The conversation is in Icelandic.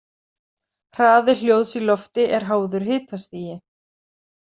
Hraði hljóðs í lofti er háður hitastigi.